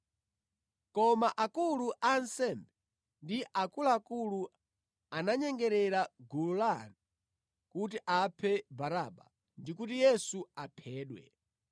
Koma akulu a ansembe ndi akuluakulu ananyengerera gulu la anthu kuti apemphe Baraba ndi kuti Yesu aphedwe.